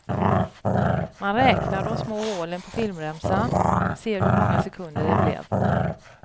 Man räknar de små hålen på filmremsan, ser hur många sekunder det blev.